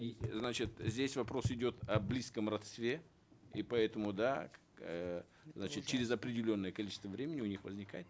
и значит здесь вопрос идет о близком родстве и поэтому да эээ значит через определенное количество времени у них возникает